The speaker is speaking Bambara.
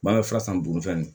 Ma fura san buguni fɛn ninnu